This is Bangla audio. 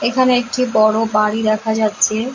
এখানে একটি বড় বাড়ি দেখা যাচ্ছে ।